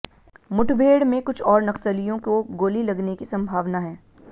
मुठभेड़ में कुछ और नक्सलियों को गोली लगने की संभावना है